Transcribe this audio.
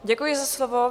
Děkuji za slovo.